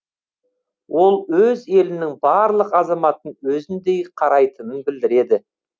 ол өз елінің барлық азаматын өзіндей қарайтынын білдіреді